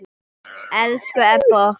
Elsku Ebba okkar.